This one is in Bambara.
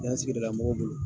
Yan sigidala mɔgɔw bolo.